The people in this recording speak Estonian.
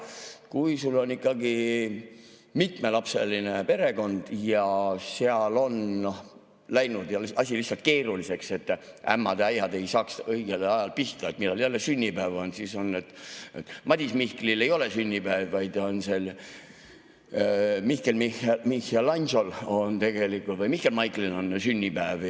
Kui sul on ikkagi mitmelapseline perekond ja seal on läinud asi lihtsalt keeruliseks, ja et ämmad ja äiad ei saaks õigel ajal pihta, et millal jälle sünnipäev on, siis on niimoodi, et Madis Mihklil ei ole sünnipäev, vaid on ikkagi Mihkel Miguelangelol või Mihkel Michaelil on sünnipäev.